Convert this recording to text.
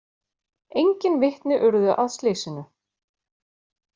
Engin vitni urðu að slysinu